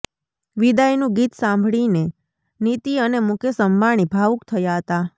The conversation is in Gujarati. વિદાયનું ગીત સાભળીને નીતિ અને મુકેશ અંબાણી ભાવુક થયા હતા